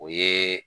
O ye